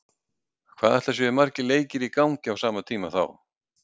Hvað ætli séu margir leikir í gangi á sama tíma þá?